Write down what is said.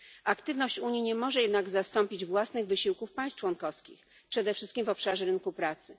Aktywność Unii nie może jednak zastąpić własnych wysiłków państw członkowskich, przede wszystkim w obszarze rynku pracy.